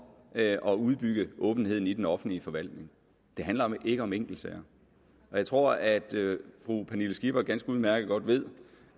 at at udbygge åbenheden i den offentlige forvaltning det handler ikke om enkeltsager jeg tror at fru pernille skipper ganske udmærket godt ved